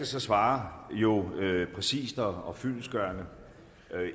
så svare præcist og fyldestgørende